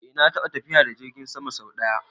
Eh na taɓa tafiya da jirgin sama sau ɗaya